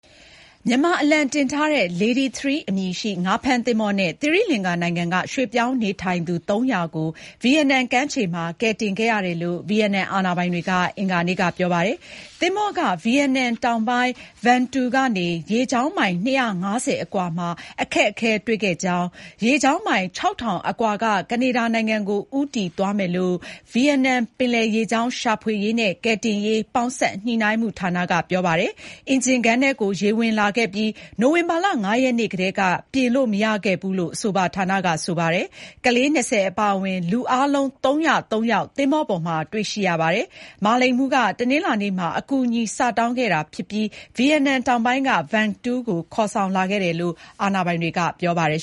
မြန်မာ အလံတင်ထားတဲ့ Lady 3 အမည်ရှိ ငါးဖမ်း သင်္ဘော နဲ့ သီရိလင်္ကာနိုင်ငံ က ရွှေ့ပြောင်းနေထိုင်သူ ၃၀၀ ကို ဗီယက်နမ် ကမ်းခြေ မှာ ကယ်တင်ခဲ့ရတယ် လို့ ဗီယက်နမ် အာဏာပိုင်တွေ က အင်္ဂါနေ့ က ပြောပါတယ်။ သင်္ဘော က ဗီယက်နမ် တောင်ပိုင်း Vung Tau ကနေ ရေကြောင်းမိုင် ၂၅၀ အကွာ မှာ အခက်အခဲတွေ့ခဲ့ကြောင်း၊ ရေကြောင်းမိုင် ၆၀၀၀ အကွာ က ကနေဒါ နိုင်ငံ ကို ဦးတည်သွားမယ်လို့ ဗီယက်နမ် ပင်လယ်ရေကြောင်း ရှာဖွေရေး နဲ့ ကယ်တင်ရေး ပေါင်းစပ်ညှိုနှိုင်းမှု ဌာန က ပြောပါတယ်။ အင်ဂျင်ခန်းထဲ ကို ရေဝင်လာခဲ့ပြီး၊ နိုဝင်ဘာ ၅ ရက်နေ့ကတည်း က ပြင်လို့ မရခဲ့ဘူး လို့ အဆိုပါ ဌာန က ဆိုပါတယ်။ ကလေး ၂၀ အပါအဝင် လူအားလုံး ၃၀၃ ယောက် သင်္ဘော ပေါ်မှာ တွေ့ရှိရပါတယ်။ မာလိန်မှူး က တနင်္လာနေ့ မှာ အကူအညီစတောင်းခဲ့တာ ဖြစ်ပြီး၊ ဗီယက်နမ် တောင်ပိုင်း က Vung Tau ကို ခေါ်ဆောင်လာခဲ့တယ်လို့ အာဏာပိုင်တွေ က ပြောပါတယ်